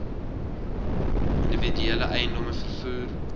individuele eiendomme vervoer